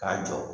K'a jɔ